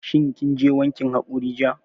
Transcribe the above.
Shin kin je wankin haƙori jiya?